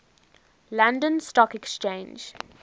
london stock exchange